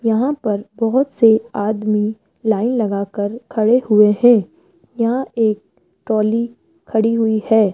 यहां पर बहोत से आदमी लाइन लगाकर खड़े हुए है यहां एक ट्रोली खड़ी हुई है।